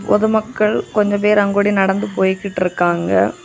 பொதுமக்கள் கொஞ்ச பேர் அங்கொடி நடந்து போய்கிட்டு இருக்காங்க.